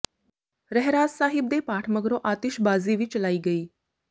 ਰਹਿਰਾਸ ਸਾਹਿਬ ਦੇ ਪਾਠ ਮਗਰੋਂ ਆਤਿਸ਼ਬਾਜ਼ੀ ਵੀ ਚਲਾਈ ਗਈ